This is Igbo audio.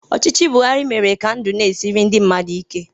Ọchịchị Buhari mere ka ndụ na-esiri ndị mmadụ ike.